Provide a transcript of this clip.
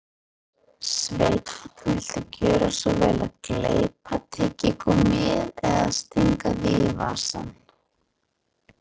Sveinn, viltu gjöra svo vel að gleypa tyggigúmmíið eða stinga því í vasann